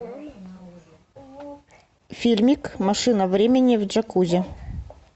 фильмик машина времени в джакузи